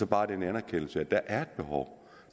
bare give en anerkendelse af at der er et behov